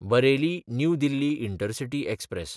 Bareilly New Delhi intercity express